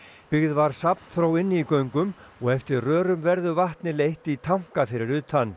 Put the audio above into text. byggð var safnþró inni í göngum og eftir rörum verður vatnið leitt í tanka fyrir utan